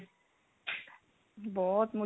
ਬਹੁਤ ਮੁਸ਼ਕਿਲ